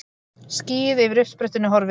Skýið yfir uppsprettunni horfið.